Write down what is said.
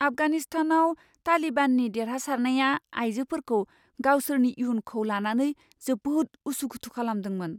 आफगानिस्तानाव तालिबाननि देरहासारनाया आइजोफोरखौ गावसोरनि इयुनखौ लानानै जोबोद उसु खुथु खालामदोंमोन।